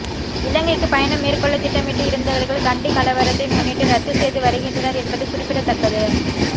இலங்கைக்கு பயணம் மேற்கொள்ள திட்டமிட்டு இருந்தவர்கள் கண்டி கலவரத்தை முன்னிட்டு ரத்து செய்து வருகின்றனர் என்பது குறிப்பிடத்தக்கது